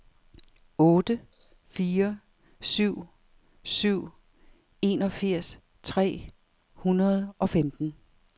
otte fire syv syv enogfirs tre hundrede og femten